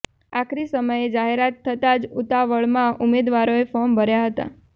આખરી સમયે જાહેરાત થતા જ ઉતાવળમાં ઉમેદવારોએ ફોર્મ ભર્યા હતા